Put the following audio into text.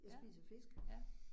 Ja, ja